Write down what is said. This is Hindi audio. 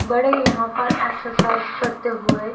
बड़े यहां पर एक्सरसाइज करते हुए--